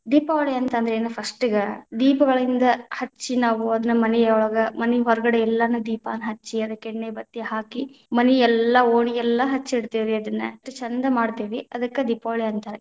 ದೀಪಾವಳಿ ಅಂತ ಅಂದ್ರ ಏನ first ಇಗ, ದೀಪಗಳಿಂದ ಹಚ್ಚಿ ನಾವು ಅದನ ಮನಿ ಒಳಗ ಮನಿ ಹೊರಗಡೆ ಎಲ್ಲಾನು ದೀಪನ ಹಚ್ಚಿ ಅದಕ್ಕ ಎಣ್ಣಿ ಬತ್ತಿ ಹಾಕಿ, ಮನಿಯಲ್ಲಾ ಓಣಿಯಲ್ಲಾ ಹಚ್ಚಿಡ್ತೇವೆ ಅದನ್ನ, ಅಷ್ಟ ಛಂದ ಮಾಡ್ತೇವಿ. ಅದಕ್ಕ ದೀಪಾವಳಿ ಅಂತಾರ.